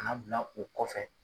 bila u kɔfɛ.